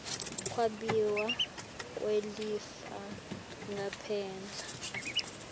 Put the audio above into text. kwabiwa kwelifa ngaphandle